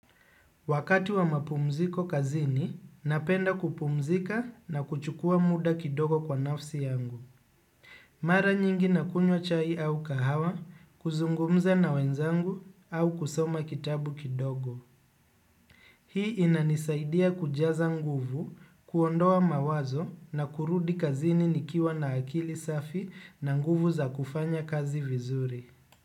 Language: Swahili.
Wakati wa mapumziko kazini, napenda kupumzika na kuchukuwa muda kidogo kwa nafsi yangu. Mara nyingi na kunywa chai au kahawa, kuzungumza na wenzangu au kusoma kitabu kidogo. Hii inanisaidia kujaza nguvu, kuondoa mawazo na kurudi kazini nikiwa na akili safi na nguvu za kufanya kazi vizuri.